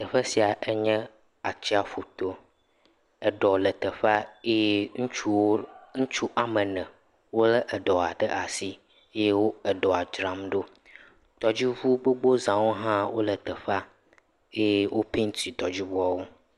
Teƒe sia enye atsiaƒu to, eɖɔa le teƒea eye ŋutsuwo, ŋutsu woame ne, wolé eɖɔa ɖe asi eye wo eɖɔa dzram ɖo, tɔdziŋu gbogbo zawo hã wole teƒea eye wopenti tɔdziŋuawo.